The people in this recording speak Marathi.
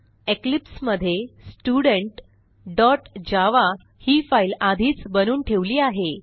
इक्लिप्स मध्ये studentजावा ही फाईल आधीच बनवून ठेवली आहे